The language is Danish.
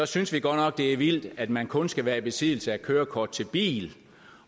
synes vi godt nok det er vildt at man kun skal være i besiddelse af kørekort til bil